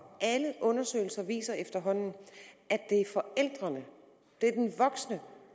alle undersøgelser viser efterhånden at det er forældrene